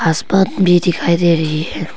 भी दिखाई दे रही है।